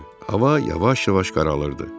Hava yavaş-yavaş qaralırdı.